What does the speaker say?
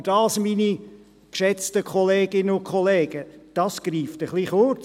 Aber dies, geschätzte Kolleginnen und Kollegen, greift etwas kurz.